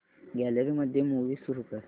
gallery मध्ये movie सुरू कर